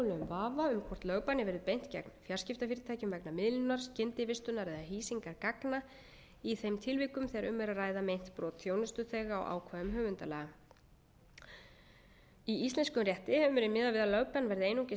vafa um hvort lögbanni verði beint gegn fjarskiptafyrirtækjum vegna miðlunar skyndivistunar eða hýsingar gagna í þeim tilvikum þegar um er að ræða meint brot þjónustuþega á ákvæðum höfundalaga í íslenskum rétti hefur verið miðað við að lögbann verði einungis